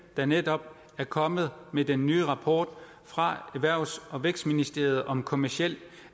der netop er kommet med den nye rapport fra erhvervs og vækstministeriet om kommercielt